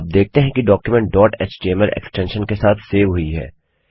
आप देखते हैं कि डॉक्युमेंट डॉट एचटीएमएल एक्सटेंशन के साथ सेव हुई है